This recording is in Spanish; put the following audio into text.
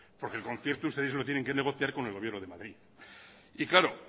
porque el concierto ustedes lo tienen que negociar con el gobierno de madrid y claro